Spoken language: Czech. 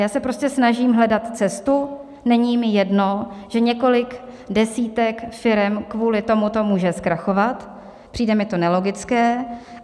Já se prostě snažím hledat cestu, není mi jedno, že několik desítek firem kvůli tomuto může zkrachovat, přijde mi to nelogické.